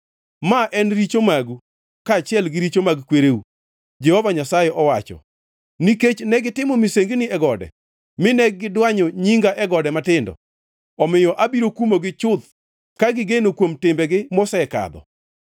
ma en richo magu kaachiel gi richo mag kwereu,” Jehova Nyasaye owacho. Nikech negitimo misengini e gode mine gidwanyo nyinga e gode matindo, omiyo abiro kumogi chuth ka gineno kuom timbegi mosekadho.